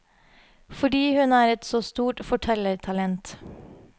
Fordi hun er et så stort fortellertalent.